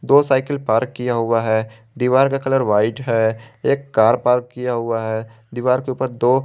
दो cycle park किया हुआ हैं दीवार का कलर व्हाईट है एक कार पार्क किया हुआ हैं दीवार के ऊपर दो--